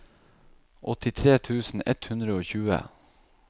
åttitre tusen ett hundre og tjue